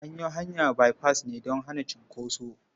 An yi hanya baifas ne don hana cunkoso.